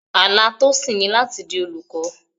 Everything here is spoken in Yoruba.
Àlá Tosin ni láti di olùkọ́.